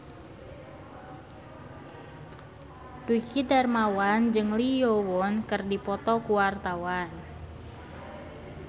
Dwiki Darmawan jeung Lee Yo Won keur dipoto ku wartawan